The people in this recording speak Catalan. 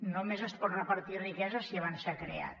només es pot repartir riquesa si abans s’ha creat